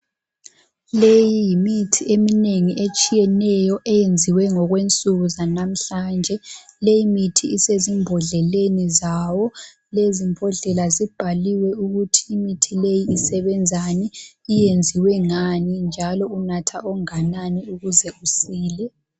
Leyi yimithi eminengi etshiyeneyo eyenziwe ngokwensuku zanamhlanje. Leyi mithi isezimbodleleni zawo. Lezi mbodlela zibhaliwe ukuthi imithi le isebenzani, iyenziwe ngani njalo unatha okunganani ukuze usile.